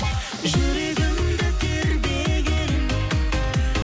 жүрегімді тербеген